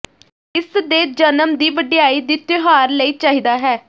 ਇਸ ਦੇ ਜਨਮ ਦੀ ਵਡਿਆਈ ਦੀ ਤਿਉਹਾਰ ਲਈ ਚਾਹੀਦਾ ਹੈ